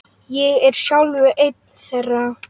Ég er sjálfur einn þeirra.